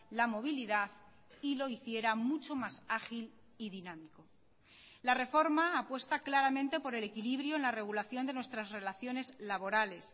la movilidad y lo hiciera mucho más ágil y dinámico la reforma apuesta claramente por el equilibrio en la regulación de nuestras relaciones laborales